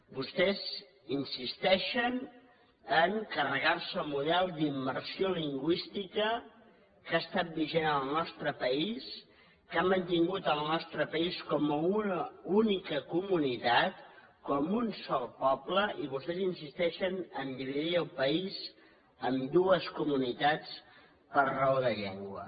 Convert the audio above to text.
vostès insisteixen a carregar se el model d’immersió lingüística que ha estat vigent en el nostre país que ha mantingut el nostre país com una única comunitat com un sol poble i vostès insisteixen a dividir el país en dues comunitats per raó de llengua